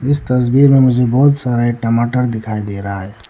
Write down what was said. इस तस्वीर में मुझे बहुत सारा ये टमाटर दिखाई दे रहा है।